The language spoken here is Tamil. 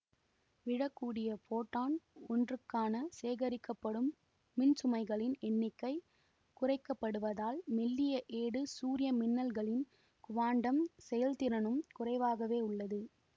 விழக்கூடிய ஃபோட்டான் ஒன்றுக்கான சேகரிக்கப்படும் மின்சுமைகளின் எண்ணிக்கை குறைக்கப்படுவதால் மெல்லிய ஏடு சூரிய மின்னல்களின் குவாண்டம் செயல்திறனும் குறைவாகவே உள்ளது